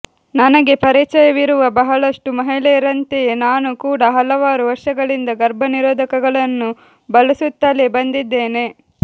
ನನಗೆ ಪರಿಚಯವಿರುವ ಬಹಳಷ್ಟು ಮಹಿಳೆಯರಂತೆಯೇ ನಾನೂ ಕೂಡ ಹಲವಾರು ವರ್ಷಗಳಿಂದ ಗರ್ಭನಿರೋಧಕಗಳನ್ನು ಬಳಸುತ್ತಲೇ ಬಂದಿದ್ದೇನೆ